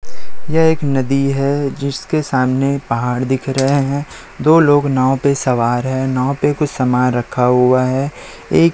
यह एक नदी है जिसके सामने पहाड़ दिख रहे हैं दो लोग नाव पे सवार हैं नाव पे कुछ सामान रखा हुआ है एक--